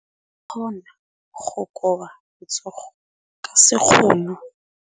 O ka kgona go koba letsogo ka sekgono.